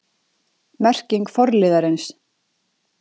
Merking forliðarins